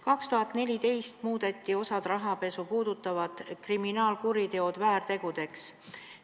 2014. aastal muudeti osa rahapesu puudutavaid kriminaalkuritegusid väärtegudeks.